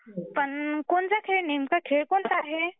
पण कोणता खेळ म्हणजे नेमका खेळ कोणचा आहे.